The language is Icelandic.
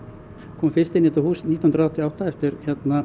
kom fyrst inn í þetta hús nítján hundruð áttatíu og átta eftir